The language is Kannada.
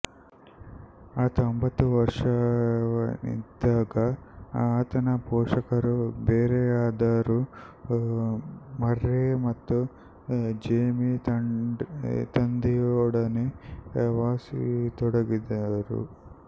ಆತ ಒಂಬತ್ತು ವರ್ಷದವನಿದ್ದಾಗ ಆತನ ಪೋಷಕರು ಬೇರೆಯಾದರು ಮರ್ರೆ ಮತ್ತು ಜೇಮಿ ತಂದೆಯೊಡನೆ ವಾಸಿಸತೊಡಗಿದರು